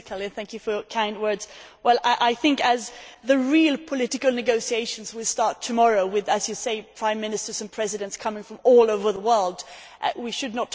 I think, as the real political negotiations will start tomorrow with, as you say, Prime Ministers and Presidents coming from all over the world, we should not talk about a Plan B' already.